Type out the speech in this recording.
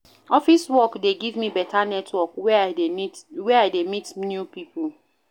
Office work dey give me beta network where I dey meet new pipo.